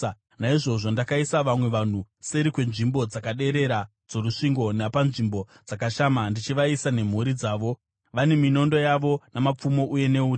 Naizvozvo ndakaisa vamwe vanhu seri kwenzvimbo dzakaderera dzorusvingo napanzvimbo dzakashama, ndichivaisa nemhuri dzavo, vane minondo yavo, namapfumo uye neuta.